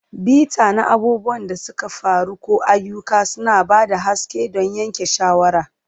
Bita na abubuwan da suka faru ko ayyuka, suna ba da haske don yanke shawara.